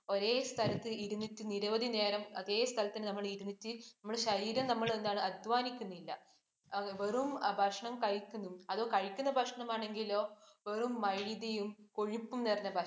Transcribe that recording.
ഒരേ സ്ഥലത്തു ഇരുന്നിട്ട് നിരവധി നേരം അതെ സ്ഥലത്തു നമ്മൾ ഇരുന്നിട്ട്, നമ്മുടെ ശരീരം നമ്മൾ എന്താണ് അധ്വാനിക്കുന്നില്ല. വെറും ഭക്ഷണം കഴിക്കുന്നു. അതോ കഴിക്കുന്ന ഭക്ഷണം ആണെങ്കിലോ, വെറും മൈദയും കൊഴുപ്പും നിറഞ്ഞ ഭക്ഷണം.